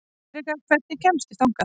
Friðrikka, hvernig kemst ég þangað?